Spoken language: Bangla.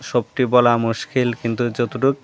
সবটি বলা মুশকিল কিন্তু যতটুক--